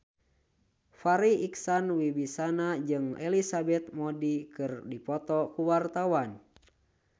Farri Icksan Wibisana jeung Elizabeth Moody keur dipoto ku wartawan